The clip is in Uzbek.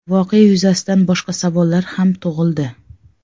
Voqea yuzasidan boshqa savollar ham tug‘ildi.